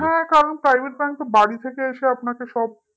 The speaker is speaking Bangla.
হ্যাঁ কারণ private bank তো বাড়ি থেকে এসে আপনাকে সব